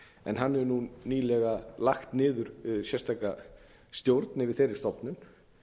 en hann hefur nú nýlega lagt niður sérstaka stjórn yfir þeirri stofnun